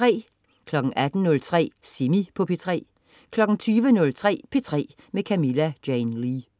18.03 Semi på P3 20.03 P3 med Camilla Jane Lea